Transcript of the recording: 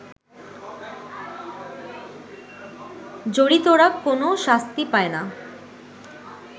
জড়িতরা কোন শাস্তি পায়না